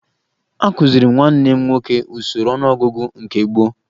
Akụziri m nwanne m nwoke usoro ọnụọgụgụ nke gboo